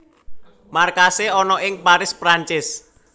Markasé ana ing Paris Perancis